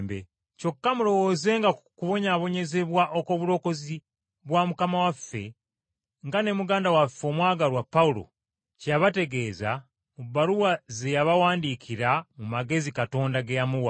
Kyokka mulowoozenga ku kubonyaabonyezebwa okw’obulokozi bwa Mukama waffe, nga ne muganda waffe omwagalwa Pawulo kye yabategeeza mu bbaluwa ze yabawandiikira mu magezi Katonda ge yamuwa.